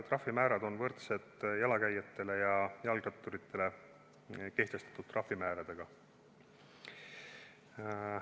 Trahvimäärad on võrdsed jalakäijatele ja jalgratturitele kehtestatud trahvimääradega.